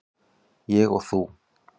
Ég og þú.